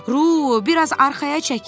Ruh, biraz arxaya çəkil.